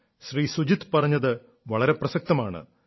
ശ്രീ സുജിത് പറഞ്ഞത് വളരെ പ്രസക്തമാണ്